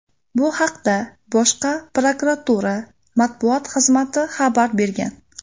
Bu haqda Bosh prokuratura matbuot xizmati xabar bergan .